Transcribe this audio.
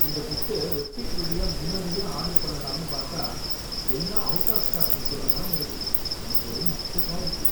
இந்த புக்க வெப்சைட் வழியா முன்னாடியே ஆர்டர் பண்ணலாம்னு பாத்தா எல்லாம் அவுட் ஆஃப் ஸ்டாக் மெசேஜ் தான் வருது, எனக்கு ஒரே அப்செட்டா இருக்கு.